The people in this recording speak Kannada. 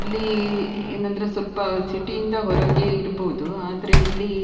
ಇಲ್ಲಿ ಅಹ್ ಏನ್ ಅಂದ್ರೆ ಸ್ವಲ್ಪ ಸಿಟಿ ಇಂದ ಹೊರ್ಗೆ ಇರ್ಬಹುದು ಆದ್ರೆ ಇಲ್ಲಿ --